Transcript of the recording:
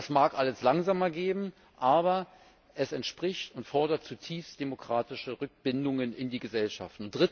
Das mag alles langsamer gehen, aber es entspricht und fordert zutiefst demokratische Rückbindungen in die Gesellschaft.